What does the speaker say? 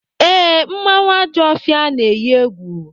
Ee, mmanwụ Ajọfịa na-eyi egwu.